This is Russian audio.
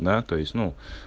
да то есть ну